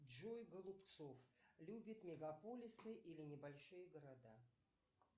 джой голубцов любит мегаполисы или небольшие города